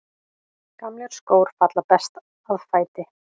Gamlir skór falla best að fæti.